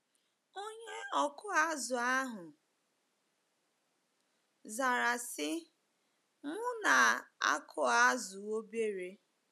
Onye ọkụ azụ̀ ahụ zara sị, “M na - akụ azụ̀ obere.